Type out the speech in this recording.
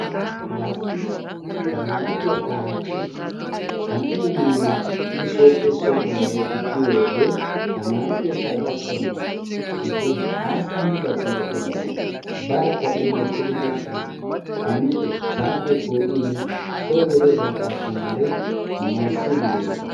dastti tamaare keetta hachi qan''iyaa miidi i sooppe som''uwa mee'eti kiyyiyo wode tamaare keetta gakkanaw issi hasttamu daqqiiqa ogiyaan barkka i hemmettidi biishin saate po'in soo geliyo saate asttamaare tamarisside dees.